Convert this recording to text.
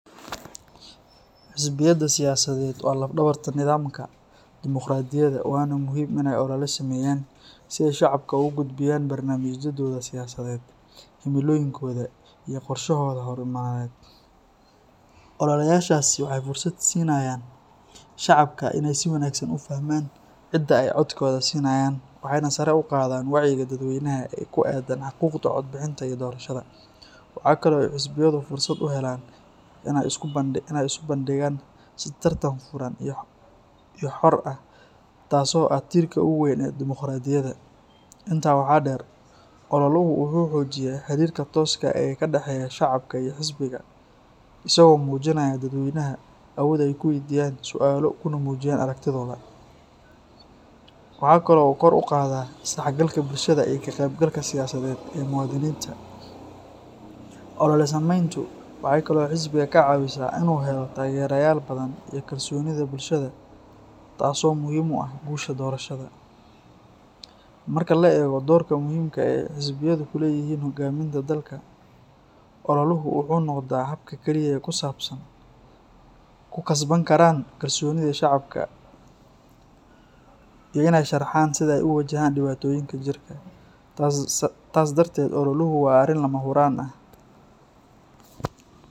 Xisbiyada siyaasadeed waa laf-dhabarta nidaamka dimuqraadiyadda, waana muhiim in ay olole sameeyaan si ay shacabka ugu gudbiyaan barnaamijyadooda siyaasadeed, himilooyinkooda, iyo qorshayaashooda horumarineed. Ololeyaashaasi waxay fursad siinayaan shacabka in ay si wanaagsan u fahmaan cidda ay codkooda siinayaan, waxayna sare u qaadaan wacyiga dadweynaha ee ku aaddan xuquuqda codbixinta iyo doorashada. Waxa kale oo ay xisbiyadu fursad u helaan in ay isu bandhigaan si tartan furan iyo xor ah, taas oo ah tiirka ugu weyn ee dimuqraadiyadda. Intaa waxaa dheer, ololuhu wuxuu xoojiyaa xiriirka tooska ah ee ka dhexeeya shacabka iyo xisbiga, isagoo siinaya dadweynaha awood ay ku waydiiyaan su’aalo kuna muujiyaan aragtidooda. Waxa kale oo uu kor u qaadaa isdhexgalka bulshada iyo ka qaybgalka siyaasadeed ee muwaadiniinta. Olole samayntu waxay kaloo xisbiga ka caawisaa in uu helo taageerayaal badan iyo kalsoonida bulshada, taas oo muhiim u ah guusha doorashada. Marka la eego doorka muhiimka ah ee xisbiyadu ku leeyihiin hoggaaminta dalka, ololuhu wuxuu noqdaa habka kaliya ee ay ku kasban karaan kalsoonida shacabka iyo in ay sharxaan sida ay u wajahayaan dhibaatooyinka jira. Taas darteed, ololuhu waa arrin lama huraan ah.